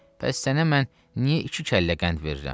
Bəs sənə mən niyə iki kəllə qənd verirəm?